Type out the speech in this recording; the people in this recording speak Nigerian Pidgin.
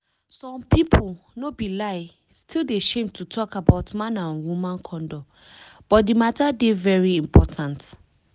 some pipu no be lie still dey shame to talk about man and woman condom but di matter dey very important